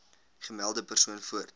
gemelde persoon voort